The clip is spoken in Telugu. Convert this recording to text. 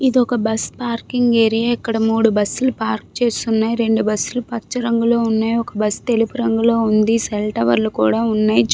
ఇదొక బస్ పార్కింగ్ ఏరియా ఇక్కడ మూడు బస్ లు పార్క్ చేసి ఉన్నాయి రెండు బస్ లు పచ్చ రంగులో ఉన్నాయి ఒక బస్ తెలుపు రంగులో ఉంది సెల్ టవర్ లు కూడా ఉన్నాయి--